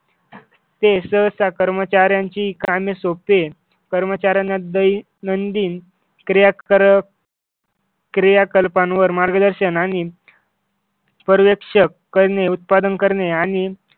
ते सहसा कर्मचाऱ्यांची कामे सोपे कर्मचाऱ्यांना दैनंदिन क्रियाकलाप क्रियाकलपांवर मार्गदर्शन आणि पर्यवेक्षक करणे उत्पादन करणे आणि